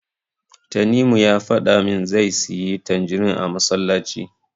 Tanimu ya faɗa min zai siyi tanjirin a masallaci.